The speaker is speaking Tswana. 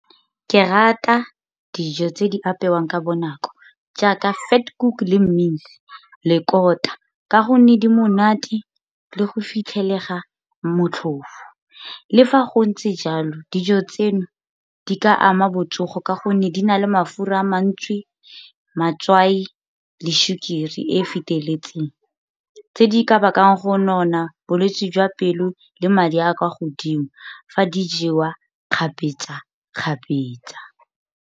Ke rata dijo tse di apewang ka bonako jaaka Vetkoek le mince le kola, ka gonne di monate le go fitlhelega motlhofo. Le fa go ntse jalo dijo tseno di ka ama botsogo ka gonne di na le mafura a mantsi, matswai, le sukiri e e feteletseng. Tse di ka bakang go nona, bolwetsi jwa pelo, le madi a kwa godimo fa di jewa kgapetsa-kgapetsa.